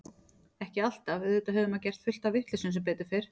Ekki alltaf, auðvitað hefur maður gert fullt af vitleysum sem betur fer.